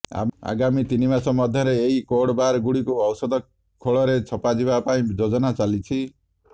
ଆଗାମୀ ତିନି ମାସ ମଧ୍ୟରେ ଏହି କୋର୍ଡବାର ଗୁଡ଼ିକୁ ଔଷଧ ଖୋଳରେ ଛପା ଯିବା ପାଇଁ ଯୋଜନା ଚାଲିଛି